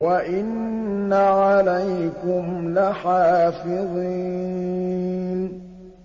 وَإِنَّ عَلَيْكُمْ لَحَافِظِينَ